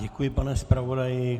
Děkuji, pane zpravodaji.